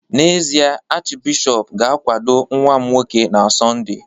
N’ezie, Achịbishọp ga-akwado nwa m nwoke na Sọnde